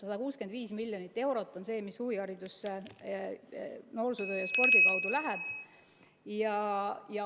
165 miljonit eurot on see, mis huviharidusse noorsootöö ja spordi kaudu läheb.